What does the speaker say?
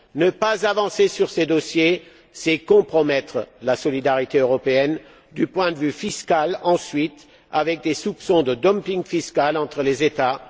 Ne pas avancer sur ces dossiers, c'est compromettre la solidarité européenne du point de vue fiscal, puis avec des soupçons de dumping fiscal entre les États.